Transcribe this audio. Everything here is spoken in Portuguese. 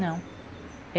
Não.